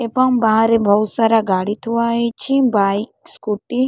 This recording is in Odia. ଏବଂ ବାହାରେ ବହୁ ସାରା ଗାଡି ଥୁଆ ହୋଇଛି ବାଇକ୍ ସ୍କୁଟି --